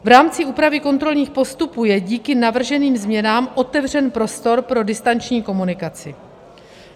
V rámci úpravy kontrolních postupů je díky navrženým změnám otevřen prostor pro distanční komunikaci.